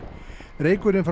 reykurinn frá